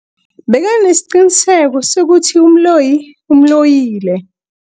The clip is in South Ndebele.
Bekanesiqiniseko sokuthi umloyi umloyile.